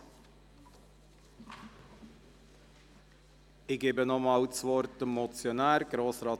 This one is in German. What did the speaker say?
Ich gebe nochmals dem Motionär das Wort.